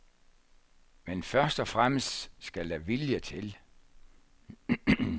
Men først og fremmest skal der vilje til.